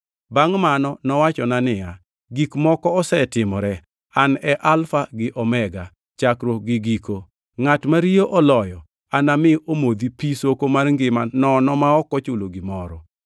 Bangʼ mano nowachona niya, “Gik moko osetimore. An e Alfa gi Omega, Chakruok gi Giko. Ngʼat ma riyo oloyo anami omodh pi soko mar ngima nono ma ok ochulo gimoro.